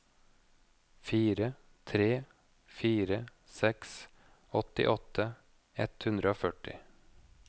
fire tre fire seks åttiåtte ett hundre og førti